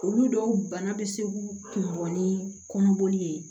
Olu dɔw bana bɛ se k'u kunbɛn ni kɔnɔboli ye